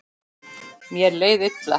Mér leið illa.